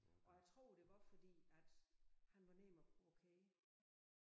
Og jeg tror det var fordi at han var nem at provokere